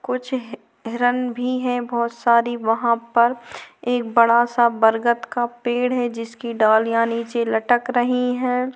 कुछ ही हिरन भी है बहोत सारी वहाँ पर एक बड़ा सा बरगत का पेड़ है जिसकी डालियाँ नीचे लटक रही है।